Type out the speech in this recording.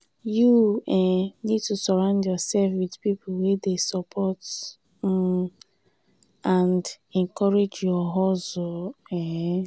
you um need to surround yourself with people wey dey support um and encourage your hustle. um